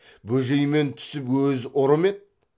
бөжей мен түсіп өзі ұры мед